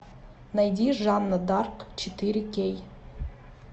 найди жанна дарк четыре кей